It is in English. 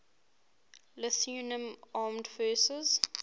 lithuanian armed forces